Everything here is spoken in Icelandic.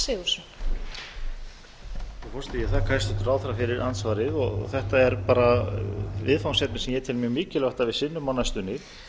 frú forseti ég þakka hæstvirtum ráðherra fyrir andsvarið þetta er bara viðfangsefni sem ég tel mjög mikilvægt að við sinnum á næstunni